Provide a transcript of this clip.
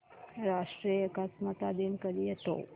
राष्ट्रीय एकात्मता दिन कधी येतो